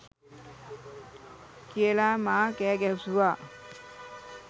කියලා මා කෑ ගැසුවා.